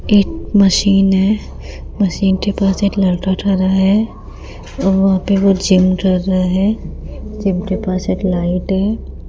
एक मशीन है मशीन के पास एक लड़का ठहरा है और वहां पे वो जिम कर रहा है जिम के पास एक लाइट है।